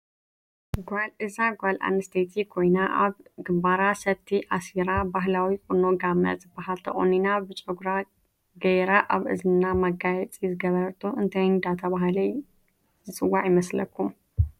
እዛ ጋል ኣንስተይቲ ኮይና ኣብ ግንበራ ሰቲ ኣስራ በህላዊ ቁኖ ጋመ ዝበሃል ተቆኒናብጭግራ ገይራ ኣብ እዝና መጋየፂ ዝገበረቶ እንታይ እዳተበሃለ ይፅዋዕ ይመስለከም